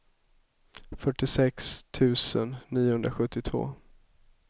fyrtiosex tusen niohundrasjuttiotvå